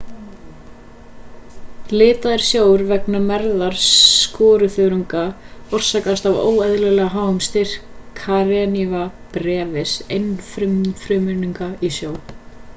litaður sjór vegna mergðar skoruþörunga orsakast af óeðlilega háum styrk karenia brevis einfrumunga í sjó